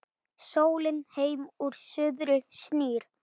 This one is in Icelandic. Sólin heim úr suðri snýr